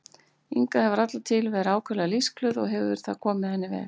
Inga hefur alla tíð verið ákaflega lífsglöð og hefur það komið henni vel.